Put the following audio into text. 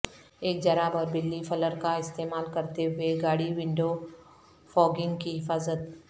ایک جراب اور بلی فلر کا استعمال کرتے ہوئے گاڑی ونڈو فوگنگ کی حفاظت